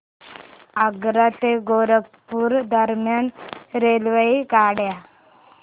आग्रा ते गोरखपुर दरम्यान रेल्वेगाड्या